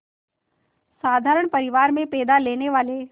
साधारण परिवार में पैदा लेने वाले